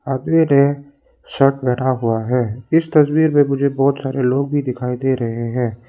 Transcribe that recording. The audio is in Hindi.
आदमी ने शर्ट पेहना हुआ है इस तस्वीर में मुझे बहोत सारे लोग भी दिखाई दे रहे है।